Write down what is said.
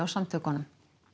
samtökunum